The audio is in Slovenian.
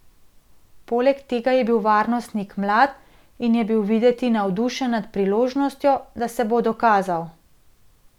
Poleg tega je bil varnostnik mlad in je bil videti navdušen nad priložnostjo, da se bo dokazal.